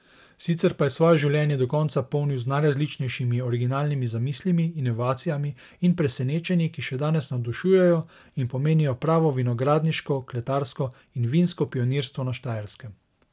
Sicer pa je svoje življenje do konca polnil z najrazličnejšimi originalnimi zamislimi, inovacijami in presenečenji, ki še danes navdušujejo in pomenijo pravo vinogradniško, kletarsko in vinsko pionirstvo na Štajerskem.